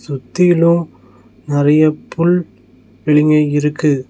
சுத்திலு நெறையா புல் வெளிங்க இருக்கு.